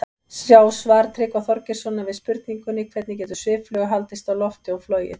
Sjá svar Tryggva Þorgeirssonar við spurningunni Hvernig getur sviffluga haldist á lofti og flogið?